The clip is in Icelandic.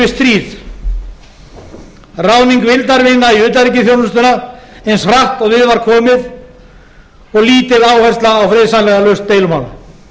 við stríð ráðning vildarvina í utanríkisþjónustuna eins hratt og við var komið og lítil áhersla á friðsamlega lausn deilumála